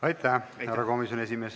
Aitäh, härra komisjoni esimees!